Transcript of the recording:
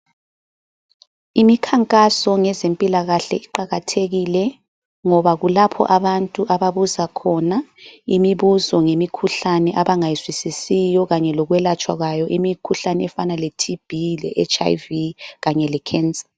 Imikhankaso ngezempilakahle iqakathekile ngoba kulapho abantu ababuza khona imibuzo ngemikhuhlane abangayizwisisiyo kanye lokwelatshwa kwayo , imikhuhlane efana le TB ,le HIV Kanye le cancer